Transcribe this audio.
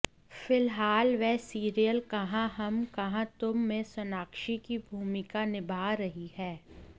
फिलहाल वह सीरियल कहां हम कहां तुम में सोनाक्षी की भूमिका निभा रही हैं